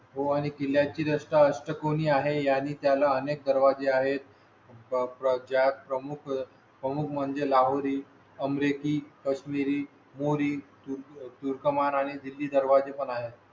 हो आणि किल्ल्या ची असतात कोणी आहे आणि त्याला अनेक दरवाजे आहेत ज्यात प्रमुख प्रमुख म्हणजे लावली अमरिकी, कश्मीरी, मोरी दुर्गम आणि दिल्ली दरवाजे पण आहेत.